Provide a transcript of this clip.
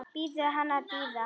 Biður hann að bíða.